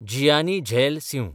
Jiyani Zail Singh